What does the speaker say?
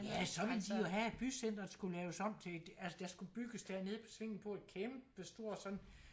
Ja så ville de jo have at bycenteret skulle lavet om til altså der skulle bygges dernede på svinget på et kæmpe stort sådan